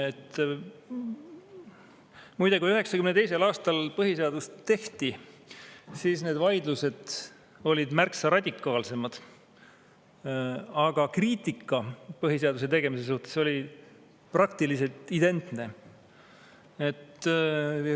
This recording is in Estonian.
Muide, kui 1992. aastal põhiseadust tehti, siis olid vaidlused märksa radikaalsemad, aga kriitika põhiseaduse tegemise suhtes oli praktiliselt identne.